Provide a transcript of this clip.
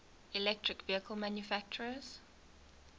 electric vehicle manufacturers